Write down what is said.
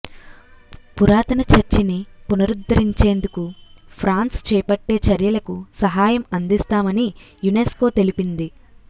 పురాతన చర్చిని పునరుద్దరించేందుకు ఫ్రాన్స్ చేపట్టే చర్యలకు సహాయం అందిస్తామని యునెస్కో తెలిపింది